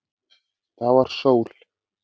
Það var sól.